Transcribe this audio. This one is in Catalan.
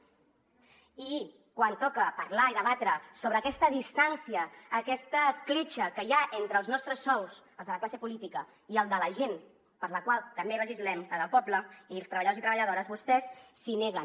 i quan toca parlar i debatre sobre aquesta distància aquesta escletxa que hi ha entre els nostres sous els de la classe política i els de la gent per la qual també legislem la del poble i els treballadors i treballadores vostès s’hi neguen